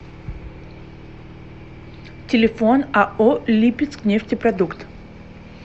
телефон ао липецкнефтепродукт